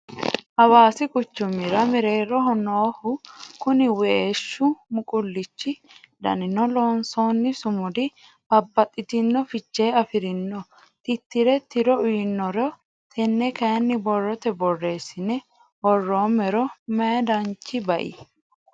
Hawaasi quchumira mereeroho nooho kuni weeshu muqulichi danini loonsonni sumudi babbaxxitino fiche afirino titire tiro uyinniro tene kayinni borrote borreesine woromero mayi danchi bai